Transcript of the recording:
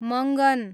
Mangan